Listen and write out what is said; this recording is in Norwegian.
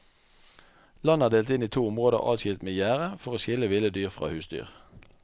Landet er delt inn i to områder adskilt med gjerde for å skille ville dyr fra husdyr.